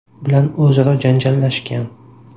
bilan o‘zaro janjallashgan.